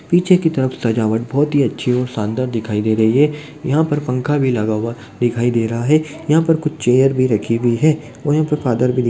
पीछे की तरफ सजावट बहुत ही अच्छी और शानदार दिखाई दे रही है यहां पर पंखा भी लगा हुआ दिखाई दे रहा हैं यहां पर कुछ चेयर भी रखी हुई है और यहां पे फादर भी --